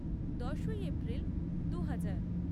দশই এপ্রিল দুহাজার